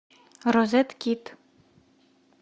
розеткид